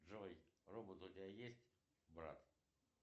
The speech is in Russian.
джой робот у тебя есть брат